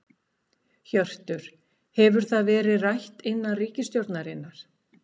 Hjörtur: Hefur það verið rætt innan ríkisstjórnarinnar?